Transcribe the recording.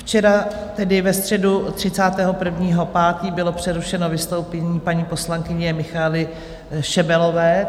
Včera, tedy ve středu 31. 5., bylo přerušeno vystoupení paní poslankyně Michaely Šebelové.